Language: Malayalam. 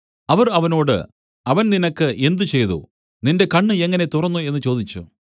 അവർ അവനോട് അവൻ നിനക്ക് എന്ത് ചെയ്തു നിന്റെ കണ്ണ് എങ്ങനെ തുറന്നു എന്നു ചോദിച്ചു